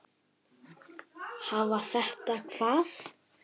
Hafa þetta hvað?